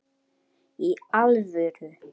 Í alvöru.